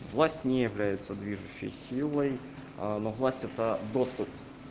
во сне является движущей силой но власть это доступ